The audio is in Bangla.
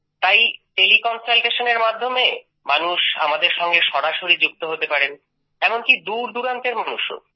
তাই তেলে Consultationএর মাধ্যমে মানুষ আমাদের সঙ্গে সরাসরি যুক্ত হতে পারেন এমনকি দূর দূরান্তের মানুষও